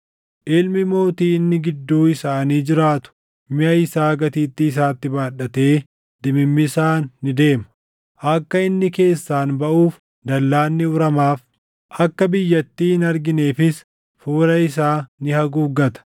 “Ilmi mootii inni gidduu isaanii jiraatu miʼa isaa gatiittii isaatti baadhatee dimimmisaan ni deema; akka inni keessaan baʼuuf dallaan ni uramaaf. Akka biyyattii hin argineefis fuula isaa ni haguuggata.